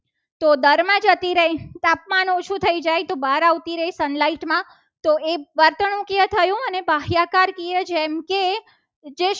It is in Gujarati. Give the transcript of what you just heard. તો દરમાં જતી રહી. તાપમાન ઓછું જ થઈ જાય. તો બહાર આવતી રહે. sun light માં તો એ વર્તણુકિય થયું. અને ગ્રાહક કાર્ય જેમ કે